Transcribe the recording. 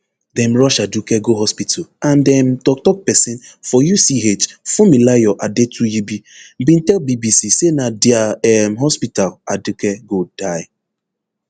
dem rush aduke go hospital and um toktok pesin for uch funmilayo adetuyibi bin tell bbc say na dia um hospital aduke gold die